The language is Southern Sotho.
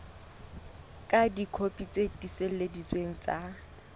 ka dikopi tse tiiseleditsweng tsa